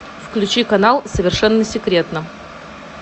включи канал совершенно секретно